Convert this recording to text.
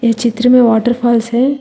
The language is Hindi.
इ चित्र में वॉटरफॉल्स है।